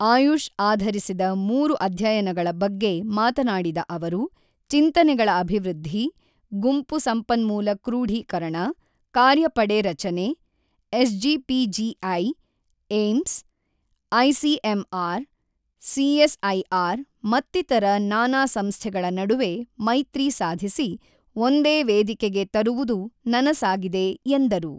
ಆಯುಷ್ ಆಧರಿಸಿದ ಮೂರು ಅಧ್ಯಯನಗಳ ಬಗ್ಗೆ ಮಾತನಾಡಿದ ಅವರು, ಚಿಂತನೆಗಳ ಅಭಿವೃದ್ಧಿ, ಗುಂಪು ಸಂಪನ್ಮೂಲ ಕ್ರೂಢೀಕರಣ, ಕಾರ್ಯಪಡೆ ರಚನೆ, S GPGI, AIIMS, ICMR, CS IR ಮತ್ತಿತರ ನಾನಾ ಸಂಸ್ಥೆಗಳ ನಡುವೆ ಮೈತ್ರಿ ಸಾಧಿಸಿ, ಒಂದೇ ವೇದಿಕೆಗೆ ತರುವುದು ನನಸಾಗಿದೆ ಎಂದರು.